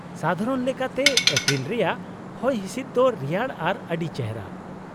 -ᱥᱟᱫᱷᱟᱨᱚᱱ ᱞᱮᱠᱟᱛᱮ, ᱮᱯᱨᱤᱞ ᱨᱮᱭᱟᱜ ᱦᱚᱭᱦᱤᱥᱤᱫ ᱫᱚ ᱨᱮᱭᱟᱲ ᱟᱨ ᱟᱹᱰᱤ ᱪᱮᱦᱨᱟ ᱾